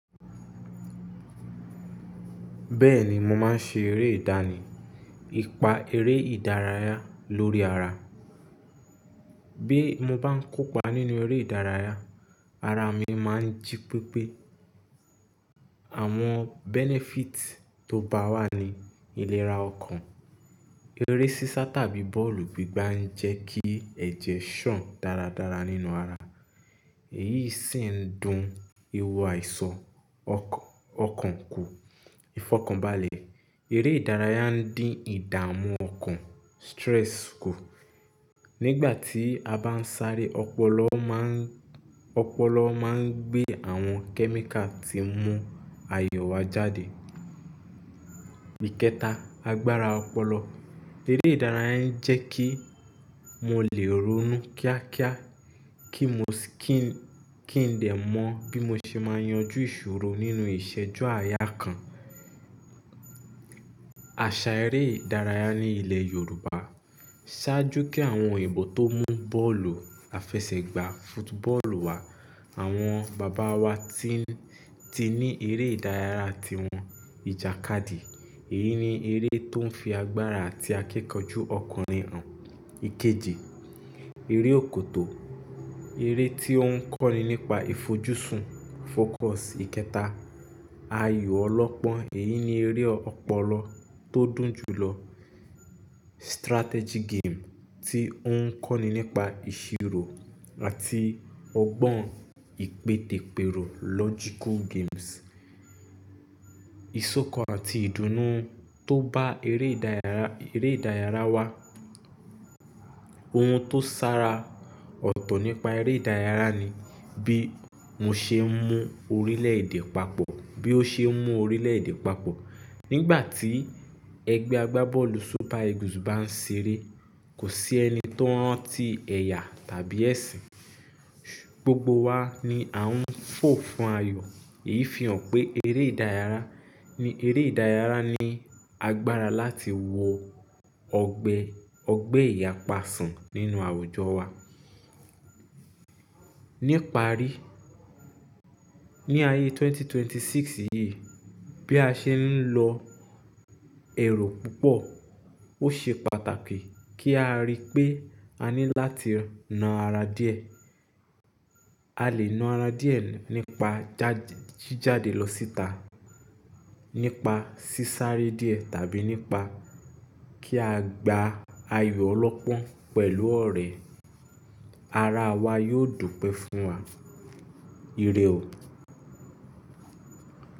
Bẹ́ẹ̀ni, mo máa ń ṣe eré ìdánì, ìpa eré ìdárayá lórí ara. Bí mo bá ń kópa nínú eré ìdárayá, ara mi máa ń jí pípé. Àwọn benefits tó bá wà ní ìlera ọkàn. Eré sísá tàbí bọ́ọ̀lù gbígbá ń jẹ́ kí ẹ̀jẹ̀ ṣàn dáradára nínú ara. Èyí sì ń dun ihò àìsàn ọkàn kù, ìfọ̀kànbalẹ̀. Eré ìdárayá ń dín ìdààmú ọkàn, stress kù. Nígbà tí a bá ń sáré, ọpọlọ má ń, ọpọlọ má ń gbé àwọn chemical tí ń mú ayọ̀ wa jáde. Ìkẹta, agbára ọpọlọ. Eré ìdárayá ń jẹ́ kí mo lè ronú kíákíá, kí mo sì kí ń, kí ń dè mọ bí mo ṣe máa yanjú ìṣòro nínú ìṣẹ́jú àyà kan. Àṣà eré ìdárayá ní ilẹ̀ Yorùbá ṣáájú kí àwọn èèbó tó mú bọ́ọ̀lù, àfẹsẹ̀gbá, football wá, àwọn bàbá wa ti ń, ti ní eré ìdárayá ti wọn. Ìjàkadì, èyí ni eré tó ń fi agbára àti akíkanjú ọkùnrin hàn. Ikeji, eré òkòtó, eré tí ó ń kọ́ni nípa ìfojúsùn, focus. Ìkẹta, ayò ọlọ́pọ́n, èyí ni eré ọpọlọ tó dùn jùlọ. Strategy game tí ó ń kọ́ni nípa ìṣirò àti ọgbọ́n ìpèdèpèrò, logical games. Ìsọkan àti ìdùnnú tó bá eré ìdárayá, eré ìdárayá wa. Ohun tó sára ọ̀tọ̀ nípa eré ìdárayá ni bí mo ṣe ń mú orílẹ̀-èdè papọ̀, bí ó ṣe ń mú orílẹ̀-èdè papọ̀. Nígbà tí ẹgbẹ́ agbábọ́ọ̀lù Super Eagles bá ń ṣeré, kò sí ẹni tó rántí ẹ̀yà tàbí ẹ̀sìn. Gbogbo wa ni à ń fò fún ayọ̀. Èyí fi hàn pé eré ìdárayá, ni eré ìdárayá ní agbára láti wọ ọgbẹ́, ọgbẹ́ ìyàpa sàn nínú àwùjọ wa. Nípa rí, ní ayé ẹgbẹ̀rún méjì ó lé mẹ́rìndínlọ́gbọ̀n yìí, bí a ṣe ń lọ èrò púpọ̀, ó ṣe pàtàkì kí a rí pé a ní láti na ara díẹ̀. A lè na ara díẹ̀ nípa jáde, jíjáde lọ síta, nípa sísáré díẹ̀ tàbí nípa kí a gba ayọ̀ ọlọ́pọ́n pẹ̀lú ọ̀rẹ́. Ara wa yóò dùn pẹ́ fún wa. Ire ò.